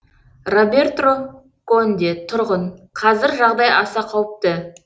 робертро конде тұрғын қазір жағдай аса қауіпті